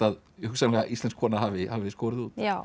hugsanlega íslensk kona hafi skorið út já